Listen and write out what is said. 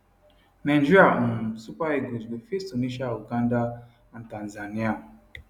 nigeria um super eagles go face tunisia uganda and tanzania